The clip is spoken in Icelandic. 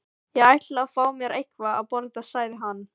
Ég ætla að fá mér eitthvað að borða sagði hann.